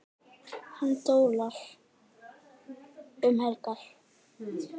Hann dólar bara um helgar.